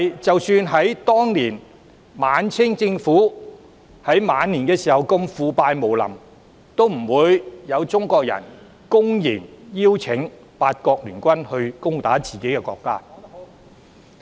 即使在晚清時期，政府如此腐敗無能，也不會有中國人公然邀請八國聯軍攻打自己的國家。